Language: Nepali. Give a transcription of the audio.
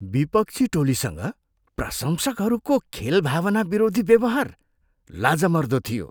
विपक्षी टोलीसँग प्रशंसकहरूको खेलभावना विरोधी व्यवहार लाजमर्दो थियो।